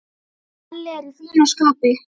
Kalli er í fínu skapi.